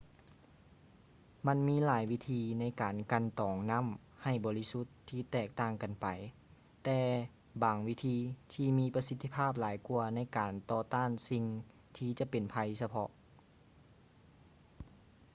ມັນມີຫຼາຍວິທີໃນການກັ່ນຕອງນ້ຳໃຫ້ບໍລິສຸດທີ່ແຕກຕ່າງກັນໄປ ມີບາງວິທີທີ່ມີປະສິດທິພາບຫຼາຍກວ່າໃນການຕໍ່ຕ້ານສິ່ງທີ່ຈະເປັນໄພສະເພາະ